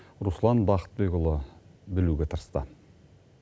руслан бақытбекұлы білуге тырысты